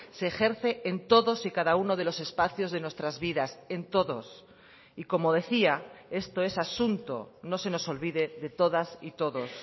se ejerce en todos y cada uno de los espacios de nuestras vidas en todos y como decía esto es asunto no se nos olvide de todas y todos